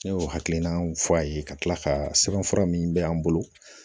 Ne y'o hakilinaw fɔ a ye ka tila ka sɛbɛn fura min bɛ an bolo